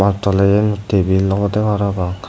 tole iyeni tebil obode parapang.